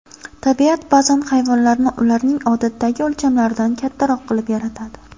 Tabiat ba’zan hayvonlarni ularning odatdagi o‘lchamlaridan kattaroq qilib yaratadi.